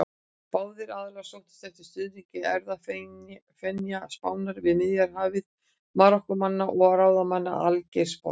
Báðir aðilar sóttust eftir stuðningi erfðafjenda Spánar við Miðjarðarhafið: Marokkómanna og ráðamanna í Algeirsborg.